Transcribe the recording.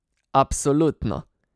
Absolutno!